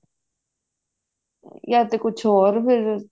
ਜਾਂ ਤੇ ਕੁਛ ਹੋਰ ਫ਼ੇਰ